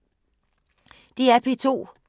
DR P2